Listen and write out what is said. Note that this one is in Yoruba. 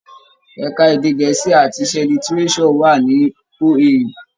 Ẹka èdè gẹ̀ẹ́sì àti iṣẹ́ Lítíréṣọ̀ wà ní OAU.